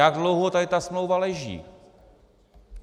Jak dlouho tady ta smlouva leží?